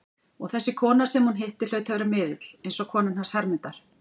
Og þessi kona sem hún hitti hlaut að vera miðill, eins og konan hans Hermundar.